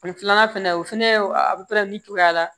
Ani filanan fɛnɛ o fɛnɛ a buteli cogoya la